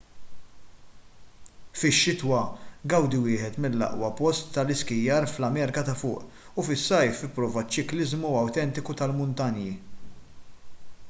fix-xitwa gawdi wieħed mill-aqwa post ta' skijar fl-amerika ta' fuq u fis-sajf ipprova ċ-ċikliżmu awtentiku tal-muntanji